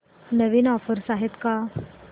नवीन offers आहेत का